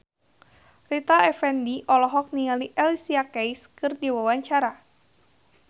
Rita Effendy olohok ningali Alicia Keys keur diwawancara